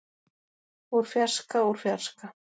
úr fjarska úr fjarska.